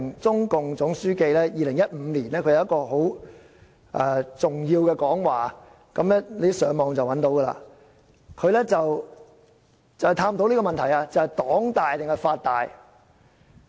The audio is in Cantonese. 中共總書記習近平在2015年發表了很重要的講話——大家上網便可找到——便是探討黨大還是法大這個問題。